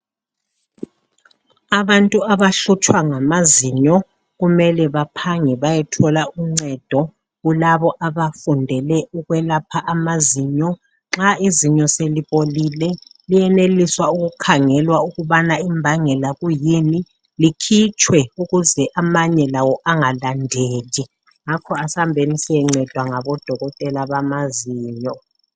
Abantu abahlutshwa ngamazinyo kumele baphange bayethola uncedo kulabo abafundele ukwelapha amazinyo. Nxa izinyo selibolile liyeneliswa ukukhangelwa ukubana imbangela kuyini likhitshwe ukuze amanye lawo angalandeli. Ngakho asambeni siyencedwa ngabodokotela bamazinyo.